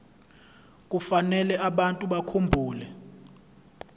kufanele abantu bakhumbule